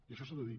i això s’ha de dir